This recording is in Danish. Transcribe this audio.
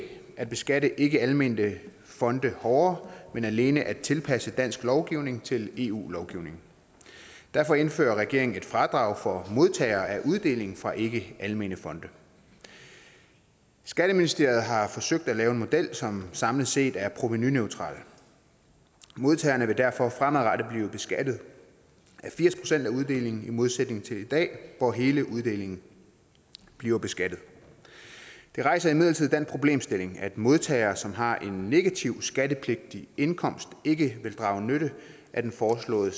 at beskatte ikkealmennyttige fonde hårdere men alene at tilpasse dansk lovgivning til eu lovgivningen derfor indfører regeringen et fradrag for modtagere af uddeling fra ikkealmennyttige fonde skatteministeriet har forsøgt at lave en model som samlet set er provenuneutral modtagerne vil derfor fremadrettet blive beskattet af firs procent af uddelingen i modsætning til i dag hvor hele uddelingen bliver beskattet det rejser imidlertid den problemstilling at modtagere som har en negativ skattepligtig indkomst ikke vil drage nytte af den foreslåede